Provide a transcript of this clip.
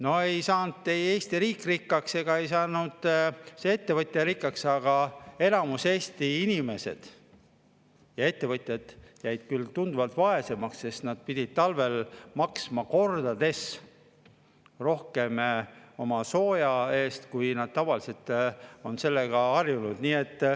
No ei saanud Eesti riik rikkaks ega ei saanud see ettevõtja rikkaks, aga enamik Eesti inimesi ja ettevõtjaid jäi küll tunduvalt vaesemaks, sest nad pidid talvel maksma kordades rohkem oma sooja eest, kui nad tavaliselt on harjunud.